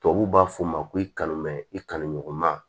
Tubabuw b'a fɔ ma ko i kanu mɛ i kanuɲɔgɔn ma